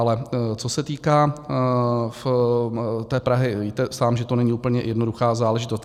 Ale co se týká té Prahy, sám víte, že to není úplně jednoduchá záležitost.